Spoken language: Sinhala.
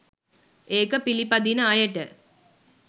ඒක පිළිපදින අයට.